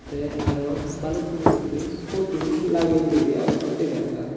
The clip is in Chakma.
te arow balukun gurine putu lageye gori agonne degajar.